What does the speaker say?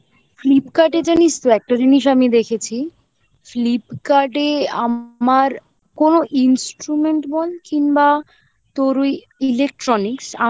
Flipkart এ জানিস তো? একটা জিনিস আমি দেখেছি Flipkart এ আমার কোনো instrument বল কিংবা তোর ওই electronics